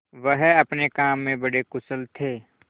वह अपने काम में बड़े कुशल थे